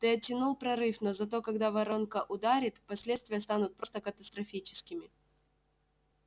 ты оттянул прорыв но зато когда воронка ударит последствия станут просто катастрофическими